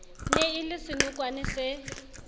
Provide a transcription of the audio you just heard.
ne e le senokwane se